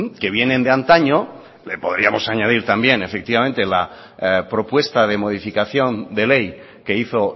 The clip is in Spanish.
que vienen de antaño le podríamos añadir también efectivamente la propuesta de modificación de ley que hizo